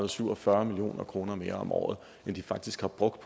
og syv og fyrre million kroner mere om året end de faktisk har brugt